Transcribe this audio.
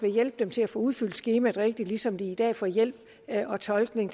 hjælp til at få udfyldt skemaerne rigtigt ligesom de i dag får hjælp og tolkning